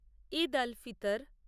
Eid al Fitr